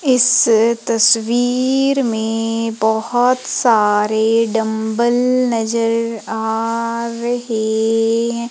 इस तस्वीर में बहुत सारे डंबल नजर आ रहे हैं।